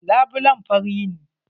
Labulen fari ne?